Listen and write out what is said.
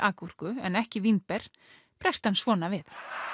gúrku en ekki vínber bregst hann svona við